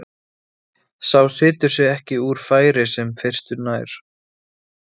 Að láta allt í einu óvænt undan duttlungum sínum og vera velkominn á leiðarenda.